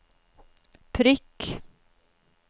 prikk